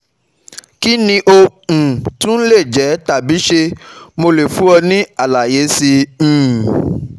Kí ni ó um tún lè jẹ́ tàbí ṣé mo lè fún ọ ní àlàyé síi? um